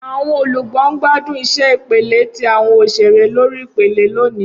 Awọn olugbo n gbadun iṣẹ ipele ti awọn oṣere lori ipele loni.